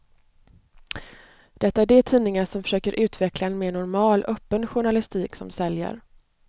Det är de tidningar som försöker utveckla en mer normal, öppen journalistik som säljer.